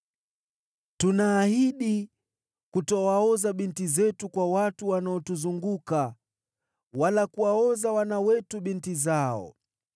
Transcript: “Tunaahidi kutowaoza binti zetu kwa watu wanaotuzunguka, wala kuwaoza wana wetu binti zao.